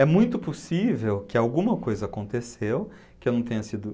É muito possível que alguma coisa aconteceu, que eu não tenha sido